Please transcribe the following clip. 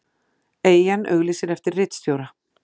Eyjan auglýsir eftir ritstjóra